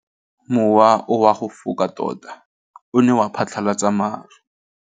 Mowa o wa go foka tota o ne wa phatlalatsa maru.